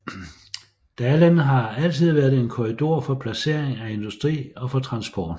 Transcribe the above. Dalen har altid været en korridor for placering af industri og for transport